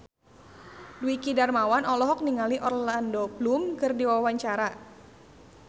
Dwiki Darmawan olohok ningali Orlando Bloom keur diwawancara